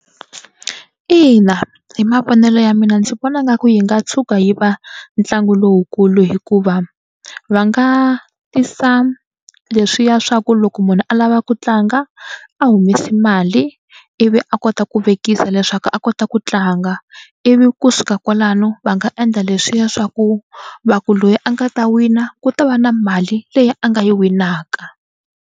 Ina hi mavonelo ya mina ndzi vona nga ku yi nga tshuka yi va ntlangu lowukulu hikuva va nga tisa leswiya swa ku loko munhu a lava ku tlanga a humesi mali ivi a kota ku vekisa leswaku a kota ku tlanga ivi kusuka kwalano va nga endla leswiya swa ku va ku loyi a nga ta wina ku ta va na mali leyi a nga yi winaka.